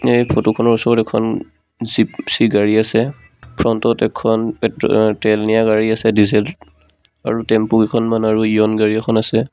এই ফটো খনৰ ওচৰত এখন জীপচি গাড়ী আছে ফ্ৰণ্ট ত এখন পেত্ৰ অ তেল নিয়া গাড়ী আছে ডিজেল আৰু টেম্পো কেইখনমান আৰু ইয়ন গাড়ী এখন আছে।